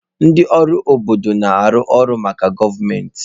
Ndị ọrụ obodo na-arụ ọrụ maka gọọmentị.